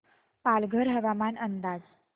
पालघर हवामान अंदाज